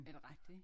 Er det rigtigt?